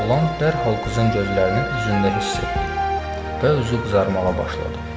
Oğlan dərhal qızın gözlərini özündə hiss etdi və üzü qızarmağa başladı.